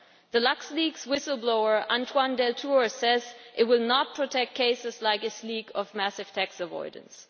The LuxLeaks whistle blower Antoine Deltour says it will not protect cases like this leak of massive tax avoidance.